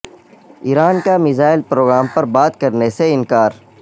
ایران کا missile programme پر بات کرنے سے انکار